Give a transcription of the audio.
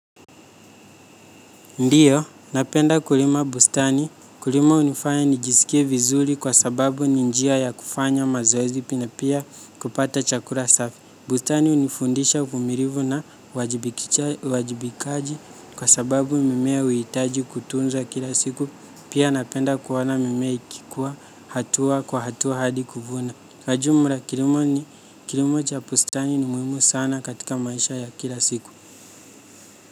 Ndiyo, napenda kulima bustani. Kulima hunifanya nijisikie vizuri kwa sababu ni njia ya kufanya mazoezi na pia kupata chakula safi. Bustani hunifundisha uvimilivu na uajibikaji kwa sababu mimea huhitaji kutunza kila siku. Pia napenda kuona mimea ikikuwa hatua kwa hatua hadi kuvuna. Kwa ujumla, kilimo cha bustani ni muhimu sana katika maisha ya kila siku.